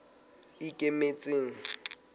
ikemetseng